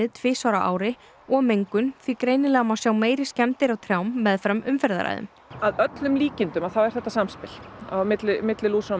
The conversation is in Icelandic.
tvisvar á ári og mengun því greinilega má sjá meiri skemmdir á trjám meðfram umferðaræðum að öllum líkindum þá er þetta samspil á milli milli lúsar og